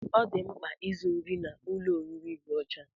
Ọ dị mkpa izu nri n'ụlọ oriri dị ọcha